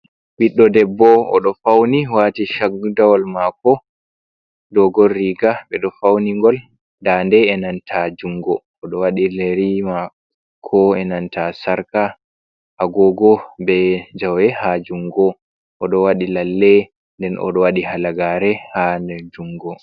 Ɓiɗdo debbo oɗo fauni wati shagdawol mako, toggol riga ɓeɗo fauni gol dande e nanta jungo oɗo, wadi yeri mako, e nanta sarka, ha gogo be jawe ha jungo oɗo wadi lalle nden oɗo wadi hala gare ha nder jungo.